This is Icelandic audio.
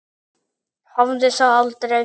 Hafði það aldrei.